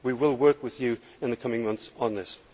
We will work with you in the coming months on this.